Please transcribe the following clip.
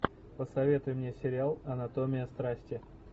посоветуй мне сериал анатомия страсти